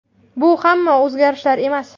Bu hamma o‘zgarishlar emas.